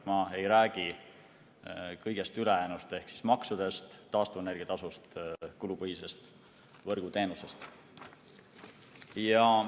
Ma ei räägi kõigest ülejäänust ehk maksudest, taastuvenergia tasust, kulupõhisest võrguteenusest.